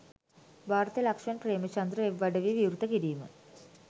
Bharatha Lakshman Premachandra web අඩවිය විවෘත කිරිම